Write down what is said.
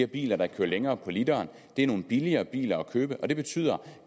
biler der kører længere på literen det er nogle billigere biler at købe og det betyder